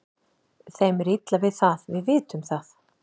Þeim er illa við það, við vitum það.